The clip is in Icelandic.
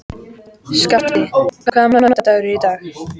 Skafti, hvaða mánaðardagur er í dag?